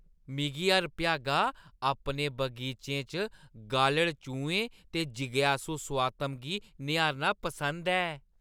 मिगी हर भ्यागा अपने बगीचें च गालढ़-चूहें दे जिज्ञासु सोआतम गी निहारना पसंद ऐ।